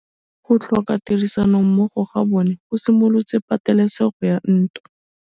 Go tlhoka tirsanommogo ga bone go simolotse patêlêsêgô ya ntwa.